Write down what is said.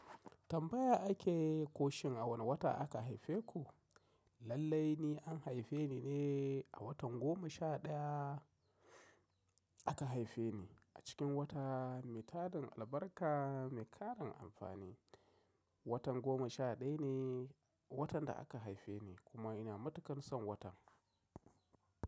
Tambaya ake ko shin a wane wata aka haife ku? Lallai ne an haife ni ne a watan goma sha ɗaya aka haife ni a cikin wata mai tadan albarka mai karan amfani. Watan goma sha ɗaya ne watan da aka haife ni kuma ina matuƙan son watan.